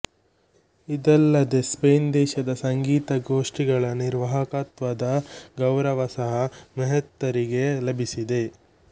ಇದಲ್ಲದೆ ಸ್ಪೈನ್ ದೇಶದ ಸಂಗೀತ ಗೋಷ್ಠಿಗಳ ನಿರ್ವಾಹಕತ್ವದ ಗೌರವ ಸಹಾ ಮೆಹ್ತಾರಿಗೆ ಲಭಿಸಿದೆ